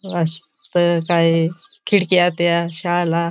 वास्त काई खिड़क्यात त्या शाळाला.